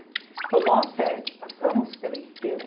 Então, nós sete passamos pela Estrela.